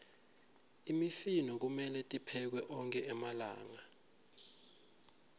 imifino kumelwe tiphekwe onkhe malanga